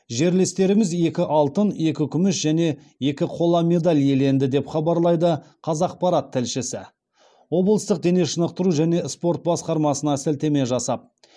жерлестеріміз екі алтын екі күміс және екі қол медаль иеленді деп хабарлайды қазақпарат тілшісі облыстық дене шынықтыру және спорт басқармасына сілтеме жасап